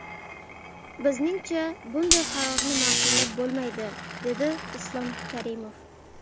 Bizningcha, bunday qarorni ma’qullab bo‘lmaydi”, dedi Islom Karimov.